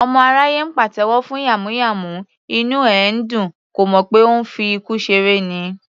Ọmọ aráyé ńpàtẹ́wọ́ fún yànmùyánmú, inú ẹ̀ ńdùn; kò mọ̀ pé òun ńfi ikú ṣeré ni